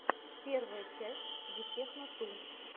первая часть витехно ту